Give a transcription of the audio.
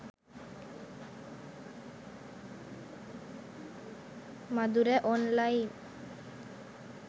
madura online